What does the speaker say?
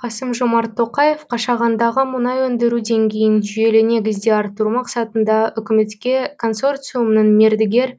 қасым жомарт тоқаев қашағандағы мұнай өндіру деңгейін жүйелі негізде арттыру мақсатында үкіметке консорциумның мердігер